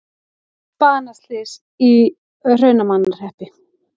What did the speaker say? Banaslys í Hrunamannahreppi